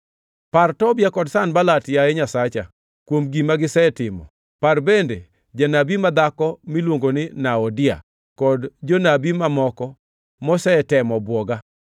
Par Tobia kod Sanbalat, yaye Nyasacha, kuom gima gisetimo; par bende janabi madhako miluongo ni Noadia kod jonabi mamoko mosetemo bwoga.